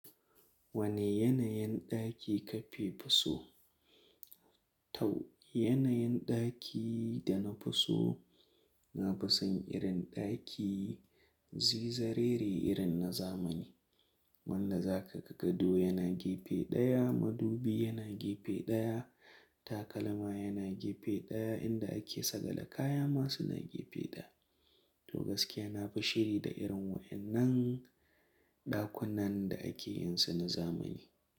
Wane yanayin ɗaki kake fi so? Toh, yanayin ɗaki da na fi so, na fi son irin ɗaki zinzariyre irin na zamani. Wanda za ka ga gado yana gefe ɗaya, madubi yana gefe ɗaya, takalma yana gefe ɗaya, inda ake tsagale kaya ma suna gefe ɗaya. To gaskiya na fi shiri da irin waɗannan ɗakunan da ake yin su na zamani.